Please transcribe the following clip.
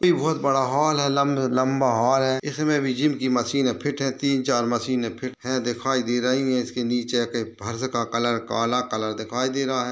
ये भी बहुत बड़ा हॉल है लंब-लंबा हॉल है इसमें भी जिम की मशीने फिट हैं तीन चार मशीनें फिट हैं दिखाई दे रही हैं इसके नीचे के फर्श का कलर काला कलर दिखाई दे रहा है।